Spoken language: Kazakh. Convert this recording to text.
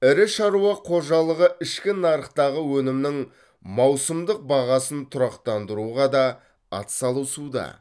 ірі шаруа қожалығы ішкі нарықтағы өнімнің маусымдық бағасын тұрақтандыруға да атсалысуда